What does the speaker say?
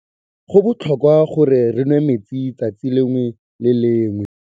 Go botlhokwa gore re nwê metsi letsatsi lengwe le lengwe.